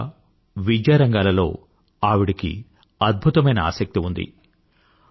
సమాజ సేవ విద్యారంగాలలో ఆవిడకి అద్భుతమైన ఆసక్తి ఉంది